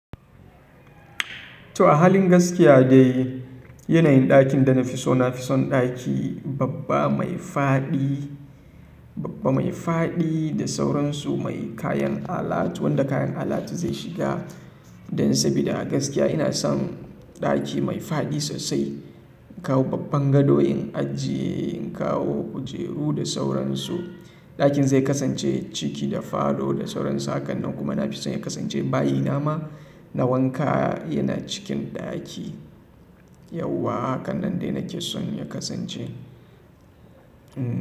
To a halin gaskiya dai yanayin ɗakin da na fi so na fi son ɗaki babba mai fadi, babba mai fadi da sauransu mai kayan alatu wanda kayan alatu zai shiga. Dan sabida a gaskiya ina son ɗaki mai fadi sosai, in kawo babban gado in ajiye, in kawo kujeru da sauransu ɗakin zai kasance ciki da falo da sauransu. Hakanan kuma na fi son ya kasance bayi na ma na wanka yana cikin ɗaki. Yauwa hakanan dai nake son ya kasance. Hm.